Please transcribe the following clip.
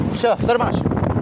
Vsyo, qurtarmaşı.